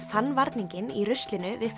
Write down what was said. fann varninginn í ruslinu við